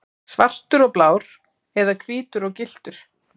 Svartur og blár eða hvítur og gylltur?